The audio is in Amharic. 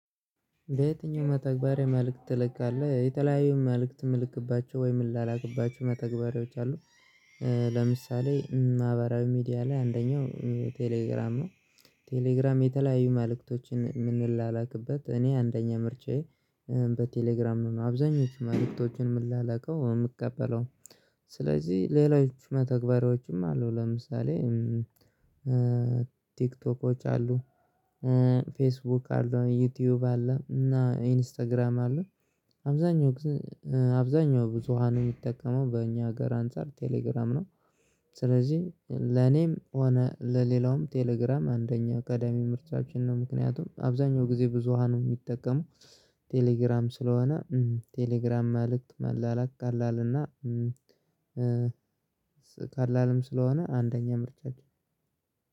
በየትኛው መተግበሪያ መልእክት ትልካለህ የተለያዩ መልእክት ምልክባቸው ወይም ምላላክባቸው መተግበሪያዎች አሉ? ለምሳሌ ማህበራዊ ሚዲያ ላይ አንደኛው ቴሌግራም ነው። ቴሌግራም የተለያዩ መልእክቶችን የምንላላክበት እኔ አንደኛ ምርጫዬ በቴሌግራም ነው አብዛኞቹ መልእክቶችን ምን ላላውከው የምቀበለው። ስለዚህ ሌሎች መተግበሪያዎችም አሉ ለምሳሌ ቲክቶኮች አሉ። ፌስቡክ አሉ ዩቲዩብ አለ እና ኢንስታግራም አለ። አብዛኛው ጊዜ አብዛኛው ብዙሃን የሚጠቀመው በእኛ ሀገር አንፃር ቴሌግራም ነው። ስለዚህ ለኔም ሆነ ለሌላውም ቴሌግራም አንደኛ ቀዳሚ ምርጫችን ነው። ምክንያቱም አብዛኛው ጊዜ ብዙሃኑ የሚጠቀመው ቴሌግራም ስለሆነ ቴሌግራም ማልክት መላላክ ቀላል እና። ቀላልም ስለሆነ አንደኛ ምርጫችን